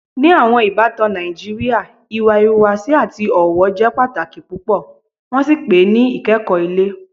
Ní àwọn ìbàtàn Nàìjíríà, ìwà ìhùwàsí àti ọ̀wọ́ jẹ́ pátàkì púpọ̀, wọn sì pe "ìkẹ́kọ̀ ilẹ̀."